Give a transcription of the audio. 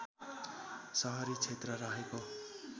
सहरी क्षेत्र रहेको